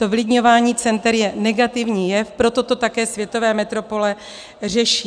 To vylidňování center je negativní jev, proto to také světové metropole řeší.